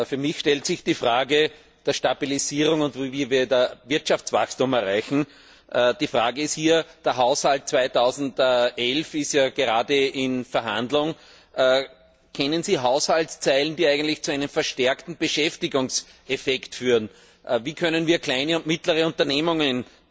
Für mich stellt sich die Frage der Stabilisierung und wie wir Wirtschaftswachstum erreichen. Die Frage ist der Haushalt 2011 ist ja gerade in Verhandlung kennen Sie Haushaltslinien, die eigentlich zu einem verstärkten Beschäftigungseffekt führen? Wie können wir kleine und mittlere Unternehmen